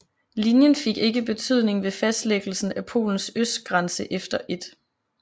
Linjen fik ikke betydning ved fastlæggelsen af Polens østgrænse efter 1